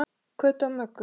Kötu og Möggu.